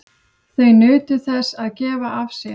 Þau nutu þess að gefa af sér.